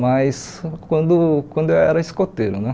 mas quando quando eu era escoteiro né.